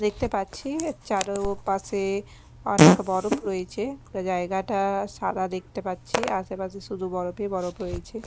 দেখতে পাচ্ছি এর চারো পাশে এ অনেক বরফ রয়েছে পুরো জায়গাটা সাদা দেখতে পাচ্ছি আশেপাশে শুধু বরফই বরফ রয়েছে।